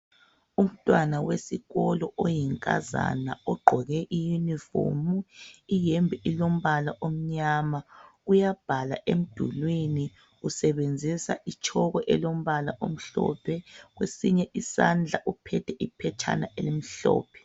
Umntwana wesikolo oyinkazana ogqoke iyunifomu, iyembe ilombala omnyama uyabhala emdulwini usebenzisa itshoko elombala omhlophe, kwesinye isandla uphethe iphetshana elimhlophe.